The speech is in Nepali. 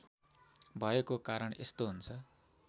भएको कारण यस्तो हुन्छ